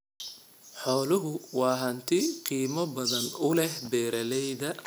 Xooluhu waa hanti qiimo badan u leh beeralayda.